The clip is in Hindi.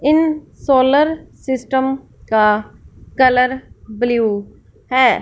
इन सोलर सिस्टम का कलर ब्लू है।